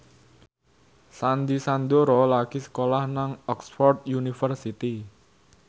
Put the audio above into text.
Sandy Sandoro lagi sekolah nang Oxford university